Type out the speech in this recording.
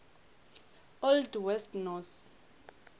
old west norse